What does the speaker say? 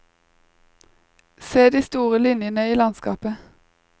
Se de store linjene i landskapet.